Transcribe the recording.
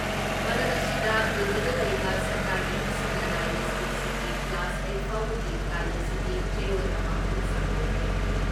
ꯃꯔꯛ ꯑꯁꯤꯗ, ꯗꯤꯜꯂꯤꯗ ꯂꯩꯕ ꯁꯔꯀꯥꯔꯒꯤ ꯑꯃꯁꯨꯡ ꯂꯅꯥꯏꯒꯤ ꯁ꯭ꯀꯨꯜꯁꯤꯡꯒꯤ ꯀ꯭ꯂꯥꯁ ꯑꯥꯏꯠ ꯐꯥꯎꯕꯒꯤ ꯀꯥꯂꯦꯟ ꯁꯨꯇꯤ ꯆꯌꯣꯜ ꯑꯃ ꯑꯃꯨꯛ ꯁꯥꯡꯗꯣꯛꯈ꯭ꯔꯦ ꯫